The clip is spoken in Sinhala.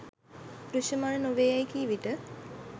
දෘශ්‍යමාන නො වේ යෑයි කී විට